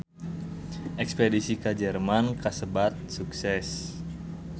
Espedisi ka Jerman kasebat sukses